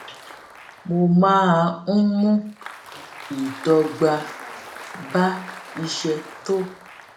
mo máa n mú ìdọgba bá iṣẹ tó